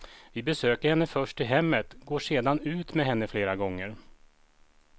Vi besöker henne först i hemmet, går sedan ut med henne flera gånger.